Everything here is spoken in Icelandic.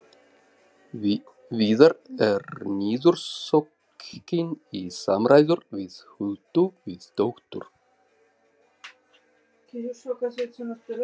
Viðar er niðursokkinn í samræður við Huldu, við dóttur